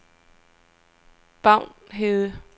Bavnhede